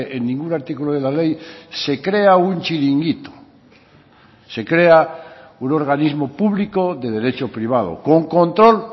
en ningún artículo de la ley se crea un chiringuito se crea un organismo público de derecho privado con control